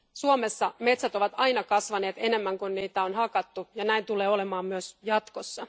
Suomessa metsät ovat aina kasvaneet enemmän kuin niitä on hakattu, ja näin tulee olemaan myös jatkossa.